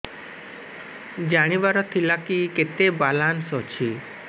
ଜାଣିବାର ଥିଲା କି କେତେ ବାଲାନ୍ସ ଅଛି